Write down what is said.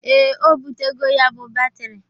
Ee, o bụtego ya bụ batịrị